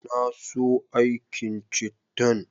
Na so aikin cittan